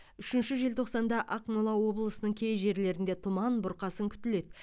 үшінші желтоқсанда ақмола облысының кей жерлерінде тұман бұрқасын күтіледі